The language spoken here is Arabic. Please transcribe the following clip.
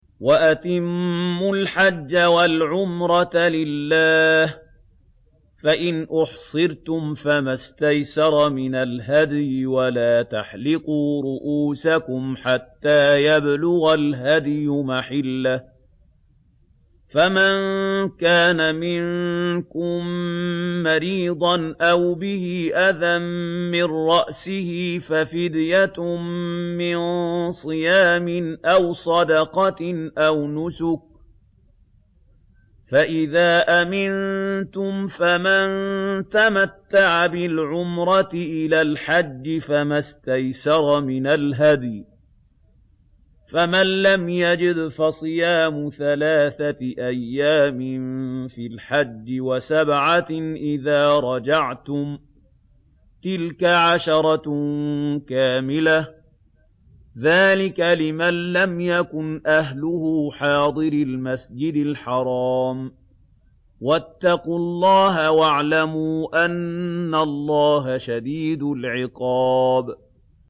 وَأَتِمُّوا الْحَجَّ وَالْعُمْرَةَ لِلَّهِ ۚ فَإِنْ أُحْصِرْتُمْ فَمَا اسْتَيْسَرَ مِنَ الْهَدْيِ ۖ وَلَا تَحْلِقُوا رُءُوسَكُمْ حَتَّىٰ يَبْلُغَ الْهَدْيُ مَحِلَّهُ ۚ فَمَن كَانَ مِنكُم مَّرِيضًا أَوْ بِهِ أَذًى مِّن رَّأْسِهِ فَفِدْيَةٌ مِّن صِيَامٍ أَوْ صَدَقَةٍ أَوْ نُسُكٍ ۚ فَإِذَا أَمِنتُمْ فَمَن تَمَتَّعَ بِالْعُمْرَةِ إِلَى الْحَجِّ فَمَا اسْتَيْسَرَ مِنَ الْهَدْيِ ۚ فَمَن لَّمْ يَجِدْ فَصِيَامُ ثَلَاثَةِ أَيَّامٍ فِي الْحَجِّ وَسَبْعَةٍ إِذَا رَجَعْتُمْ ۗ تِلْكَ عَشَرَةٌ كَامِلَةٌ ۗ ذَٰلِكَ لِمَن لَّمْ يَكُنْ أَهْلُهُ حَاضِرِي الْمَسْجِدِ الْحَرَامِ ۚ وَاتَّقُوا اللَّهَ وَاعْلَمُوا أَنَّ اللَّهَ شَدِيدُ الْعِقَابِ